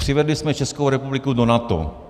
Přivedli jsme Českou republiku do NATO.